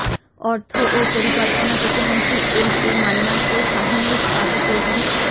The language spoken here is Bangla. অর্থ ও পরিকল্পনা প্রতিমন্ত্রী এমএ মান্নান ও শাহীনুর পাশা চৌধুরী